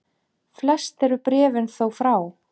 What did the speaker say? Flest eru bréfin þó frá